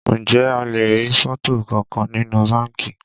Ǹjẹ́ a lè rí fọ́tò kankan nínú báńkì?